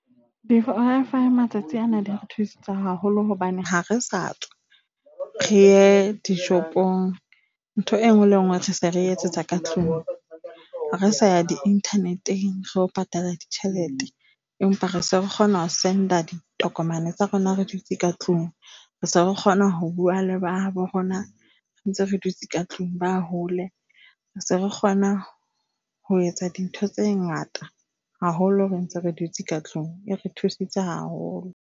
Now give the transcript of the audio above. matsatsi ana di re thusitse haholo hobane ha re sa tswa re e dishopong. Ntho e nngwe le nngwe re se re etsetsa ka tlung. Ha re sa ya di-nternet-eng, re yo patala ditjhelete, empa re se re kgona ho send-a ditokomane tsa rona re dutse ka tlung. Re se re kgona ho bua le ba habo rona re ntse re dutse ka tlung ba hole. Se re kgona ho etsa dintho tse ngata haholo re ntse re dutse ka tlung. E re thusitse haholo.